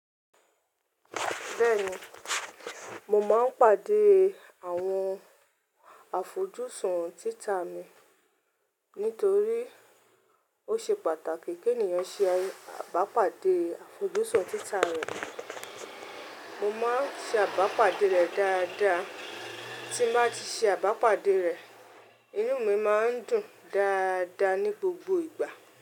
Bẹ́ẹ̀ni, mo máa ń pàdé àwọn afọjúsùn títa mi nítorí ó ṣe pàtàkì kí ènìyàn ṣe abápàdé afọjúsùn títa rẹ̀. Mo máa ń ṣe abápàdé rẹ̀ dáadáa. Tí mo bá ti ṣe abápàdé rẹ̀, inú mi máa ń dùn dáadáa ní gbogbo ìgbà.